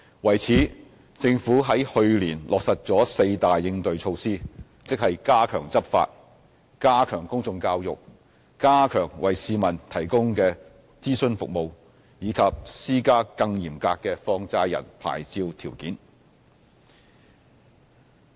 為此，政府在去年落實了四大應對措施，即加強執法、加強公眾教育、加強為市民提供的諮詢服務，以及施加更嚴格的放債人牌照條件。